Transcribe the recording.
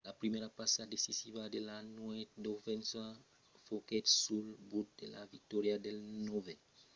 la primièra passa decisiva de la nuèch d'ovechkin foguèt sul but de la victòria del novèl recrutat nicklas backstrom;